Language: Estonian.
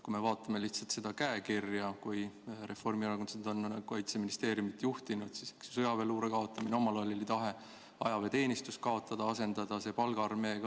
Vaatame lihtsalt seda käekirja, mis Reformierakonnal on olnud Kaitseministeeriumi juhtimisel: sõjaväeluure kaotamine, omal ajal oli tahe ajateenistus kaotada ja asendada see palgaarmeega.